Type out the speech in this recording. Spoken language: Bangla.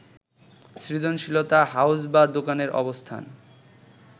সৃজনশীলতা, হাউস বা দোকানের অবস্থান